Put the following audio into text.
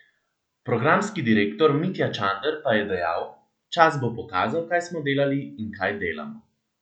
Programski direktor Mitja Čander pa je dejal: "Čas bo pokazal, kaj smo delali in kaj delamo.